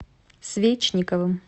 свечниковым